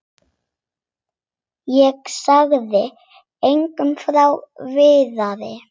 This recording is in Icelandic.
Ég sagði engum frá Viðari.